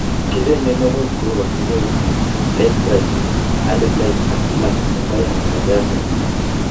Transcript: Kicheng'e mionwokik cheu bacteria wilt, late bright, early blight ak black en mbarengung nebo biaisinik.